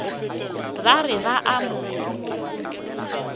ba re ba a mo